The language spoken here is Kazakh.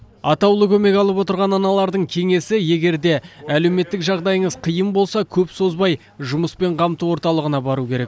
атаулы көмек алып отырған аналардың кеңесі егерде әлеуметтік жағдайыңыз қиын болса көп созбай жұмыспен қамту орталығына бару керек